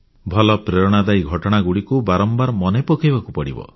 ଭଲ ପ୍ରେରଣାଦାୟୀ ଘଟଣାଗୁଡ଼ିକୁ ବାରମ୍ବାର ମନେ ପକାଇବାକୁ ପଡ଼ିବ